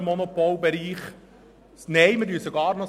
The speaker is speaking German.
Nein, wir zementieren das sogar noch.